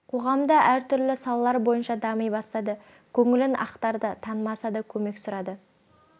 қоғамда әртүрлі салалар бойынша дами бастады көңілін ақтарды танымаса да көмек сұрады